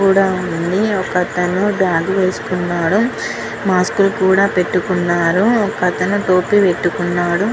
కూడా వున్నారు ఒక అతను బాగ్ వేసుకునాడు మాస్క్ కూడా పెతుకునాడు ఒక టోపీ కూడా పెతుకునాడు.